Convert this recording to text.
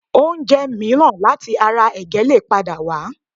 Oúnjẹ mìíràn láti ara ẹ̀gẹ́ lè padà wà